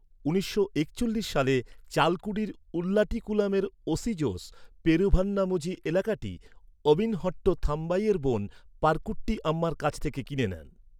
উনিশশো একচল্লিশ সালে চালকুডির উল্লাটিকুলামের ওসি জোস পেরুভান্নামুঝি এলাকাটি অবিনহট্ট থামবাইয়ের বোন পারকুট্টি আম্মার কাছ থেকে কিনে নেন।